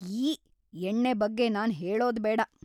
ಯ್ಯೀ, ಎಣ್ಣೆ ಬಗ್ಗೆ ನಾನ್‌ ಹೇಳೊದ್ ಬೇಡಾ.